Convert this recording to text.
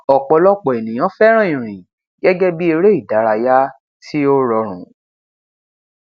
ọpọlọpọ ènìyàn fẹràn ìrìn gẹgẹ bii eré ìdárayá tí ó rọrùn